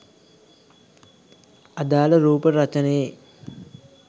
අදාල රූපරචනයේ